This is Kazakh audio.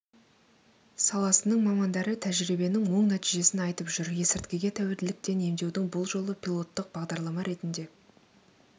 саласының мамандары тәжірибенің оң нәтижесін айтып жүр есірткіге тәуелділіктен емдеудің бұл жолы пилоттық бағдарлама ретінде